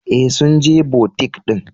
Ee, sun je butik din.